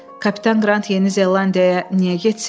Kapitan Qrant Yeni Zelandiyaya niyə getsin ki?